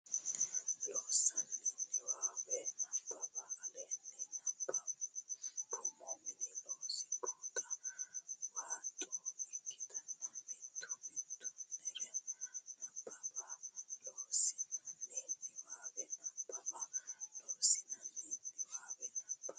Loossinanni Niwaawe Nabbawa aleenni nabbambummo Mini Looso Buuxa waaxo ikkitine mittu mitti nera nabbabbe Loossinanni Niwaawe Nabbawa Loossinanni Niwaawe Nabbawa.